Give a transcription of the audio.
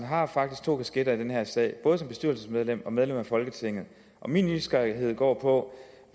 har faktisk to kasketter på i den her sag både som bestyrelsesmedlem og som medlem af folketinget min nysgerrighed går på